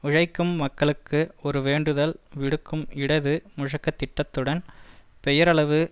உழைக்கும் மக்களுக்கு ஒரு வேண்டுதல் விடுக்கும் இடது முழக்க திட்டத்துடன் பெயரளவு